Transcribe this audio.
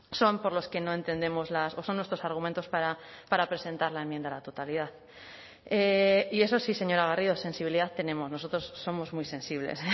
son por los que no entendemos las o son nuestros argumentos para presentar la enmienda a la totalidad y eso sí señora garrido sensibilidad tenemos nosotros somos muy sensibles